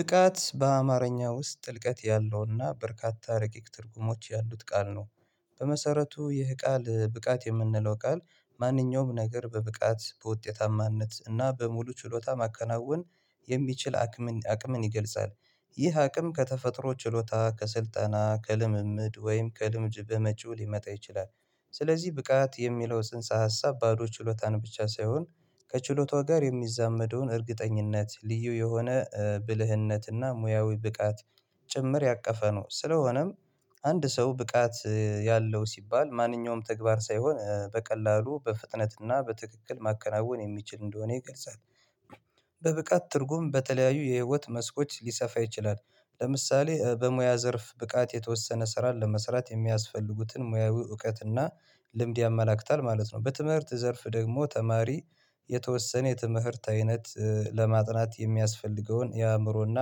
ጥቃት በአማርኛ ውስጥ ጥልቀት ያለው እና በርካታ ረቂቅ ትርጉሞች ያሉት ቃል ነው። በመሰረቱ ይህ ቃል ብቃት የምንለው ቃል ማንኛውም ነገር በብቃት በውጤታማነት እና በሙሉ ችሎታ ማከናወን የሚችል አቅምን አቅምን ይገልጻል። ይህ አቅም ከተፈጥሮ ችሎታ ከስልጠና ከልምምድ ወይም ከልምጅ በመጪው ሊመጣ ይችላል። ስለዚህ ብቃት የሚለው ጽንሰ ሀሳብ ባዶ ችሎታን ብቻ ሳይሆን ከችሎታው ጋር የሚዛመደውን እርግጠኝነት ልዩ የሆነ ብልህነት እና ሞያዊ ብቃት ጭምር ያቀፈ ነው። ስለሆነም አንድ ሰው ብቃት ያለው ሲባል ማንኛውም ተግባር ሳይሆን በቀላሉ በፍጥነት እና በትክክል ማከናወን የሚችል እንደሆነ ይገልጻል። በብቃት ትርጉም በተለያዩ የህይወት መስኮች ሊሰፋ ይችላል። ለምሳሌ በሙያ ዘርፍ ብቃት የተወሰነ ስራ ለመስራት የሚያስፈልጉትን ሙያዊ እውቀትና ልምድ ያመላክታል ማለት ነው። በትምህርት ዘርፍ ደግሞ ተማሪ የተወሰነ የትምህርት አይነት ለማጥናት የሚያስፈልገውን የአእምሮና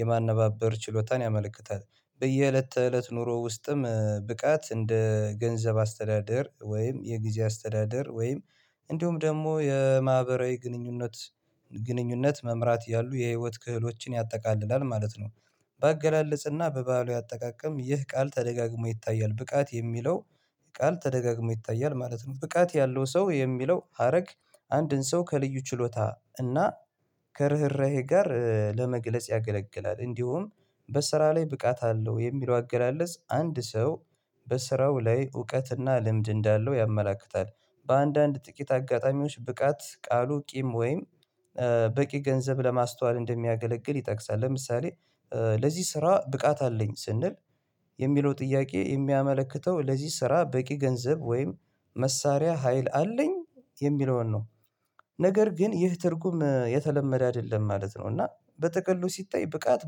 የማነባበር ችሎታን ያመለክታል። በየእለት ተእለት ኑሮ ውስጥም ብቃት እንደ ገንዘብ አስተዳደር ወይም የጊዜ አስተዳደር ወይም እንደውም ደግሞ የማህበራዊ ግንኙነት ግንኙነት መምራት ያሉ የህይወት ክህሎችን ያጠቃልላል ማለት ነው። በአገላለጽ እና በባህላዊ አጠቃቀም ይህ ቃል ተደጋግሞ ይታያል ብቃት የሚለው ቃል ተደጋግሞ ይታያል ማለት ነው። ብቃት ያለው ሰው የሚለው ሀረግ አንድን ሰው ከልዩ ችሎታ እና ከርህራሄ ጋር ለመግለጽ ያገለግላል። እንዲሁም በስራ ላይ ብቃት አለው የሚለው አገላለጽ አንድ ሰው በስራው ላይ እውቀት እና ልምድ እንዳለው ያመላክታል። በአንዳንድ ጥቂት አጋጣሚዎች ብቃት ቃሉ ቂም ወይም በቂ ገንዘብ ለማስተዋል እንደሚያገለግል ይጠቅሳል። ለምሳሌ ለዚህ ስራ ብቃት አለኝ ስንል የሚለው ጥያቄ የሚያመለክተው ለዚህ ስራ በቂ ገንዘብ ወይም መሳሪያ ሀይል አለኝ የሚለውን ነው። ነገር ግን ይህ ትርጉም የተለመደ አይደለም ማለት ነው። እና በተቅሉ ሲታይ ብቃት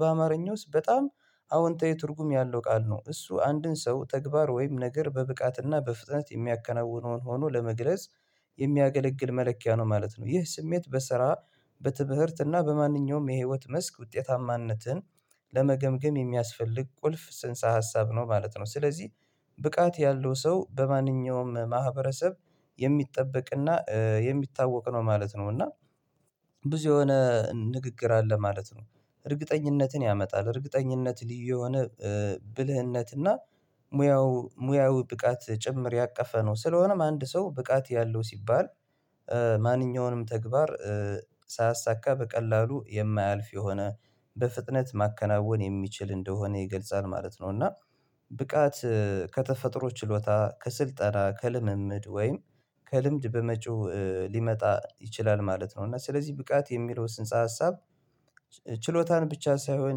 በአማርኛ ውስጥ በጣም አወንታዊ ትርጉም ያለው ቃል ነው እሱ አንድን ሰው ተግባር ወይም ነገር በብቃት እና በፍጥነት የሚያከናውነውን ሆኖ ለመግለጽ የሚያገለግል መለኪያ ነው ማለት ነው። ይህ ስሜት በስራ በትምህርት እና በማንኛውም የህይወት መስክ ውጤታማነትን ለመገምገም የሚያስፈልግ ቁልፍ ጽንሰ ሀሳብ ነው ማለት ነው። ስለዚህ ብቃት ያለው ሰው በማንኛውም ማህበረሰብ የሚጠበቅ እና የሚታወቅ ነው ማለት ነው። እና ብዙ የሆነ ንግግር አለ ማለት ነው። እርግጠኝነትን ያመጣል እርግጠኝነት ልዩ የሆነ ብልህነትና ሞያው ብቃት ጭምር ያቀፈ ነው። ስለሆነም አንድ ሰው ብቃት ያለው ሲባል ማንኛውንም ተግባር ሳያሳካ በቀላሉ የማያልፍ የሆነ በፍጥነት ማከናወን የሚችል እንደሆነ ይገልጻል ማለት ነው። እና ብቃት ከተፈጥሮ ችሎታ ከስልጠና ከልምምድ ወይም ከልምድ በመጪው ሊመጣ ይችላል ማለት ነው። እና ስለዚህ ብቃት የሚለው ስንፀ ሀሳብ ችሎታን ብቻ ሳይሆን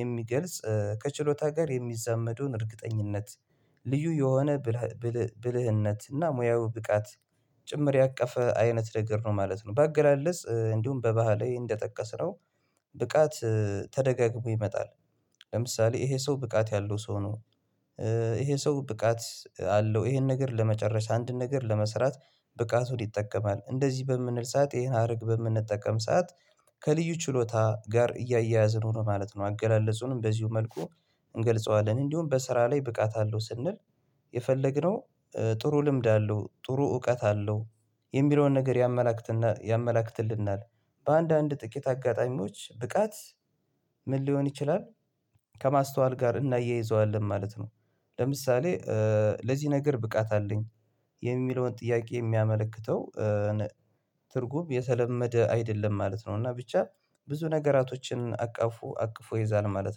የሚገልጽ ከችሎታ ጋር የሚዛመዱን እርግጠኝነት ልዩ የሆነ ብልህነት እና ሞያዊ ብቃት ጭምር ያቀፈ አይነት ነገር ነው ማለት ነው። በአገላለጽ እንዲሁም በባህላዊ እንደጠቀስነው ብቃት ተደጋግሞ ይመጣል ለምሳሌ ይሄ ሰው ብቃት ያለው ሰው ነው። ይሄ ሰው ብቃት አለው ይሄን ነገር ለመጨረሻ አንድ ነገር ለመስራት ብቃቱን ይጠቀማል እንደዚህ በምንል ሰዓት ይሄን ሀረግ በምንጠቀም ሰዓት ከልዩ ችሎታ ጋር እያያዝነው ነው ማለት ነው። አገላለጹንም በዚሁ መልኩ እንገልጸዋለን እንዲሁም በስራ ላይ ብቃት አለው ስንል የፈለግነው ጥሩ ልምድ አለው ጥሩ እውቀት አለው የሚለውን ነገር ያመላክትልናል። በአንዳንድ ጥቂት አጋጣሚዎች ብቃት ምን ሊሆን ይችላል? ከማስተዋል ጋር እናያይዘዋለን ማለት ነው። ለምሳሌ ለዚህ ነገር ብቃት አለኝ የሚለውን ጥያቄ የሚያመለክተው ትርጉም የተለመደ አይደለም ማለት ነው። እና ብቻ ብዙ ነገራቶችን አቅፉ አቅፎ ይዛል ማለት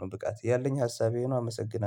ነው። ብቃት ያለኝ ሀሳብ ይህ ነው። አመሰግናለሁ